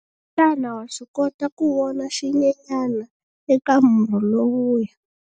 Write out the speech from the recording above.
Xana wa swi kota ku vona xinyenyana eka murhi lowuya?